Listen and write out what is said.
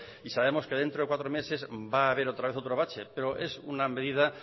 y sabemos que dentro de cuatro meses va a haber otra vez otro bache pero es una medida